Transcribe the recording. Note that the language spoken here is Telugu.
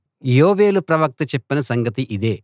యోవేలు ప్రవక్త చెప్పిన సంగతి ఇదే